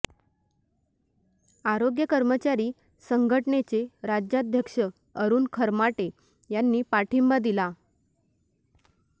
आरोग्य कर्मचारी संघटनेचे राज्याध्यक्ष अरूण खरमाटे यांनी पाठिंबा दिला